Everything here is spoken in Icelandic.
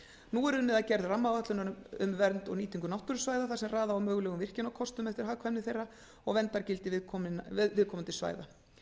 nú er unnið að gerð rammaáætlunar um vernd og nýtingu náttúrusvæða þar sem raða á mögulegum virkjunarkostum eftir hagkvæmni þeirra og verndargildi viðkomandi svæða